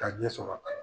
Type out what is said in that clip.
K'a ɲɛ sɔrɔ a la